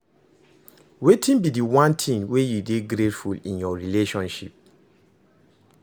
wetin be di one thing wey you dey grateful in your relationship?